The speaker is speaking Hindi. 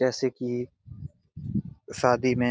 जैसे की शादी मे--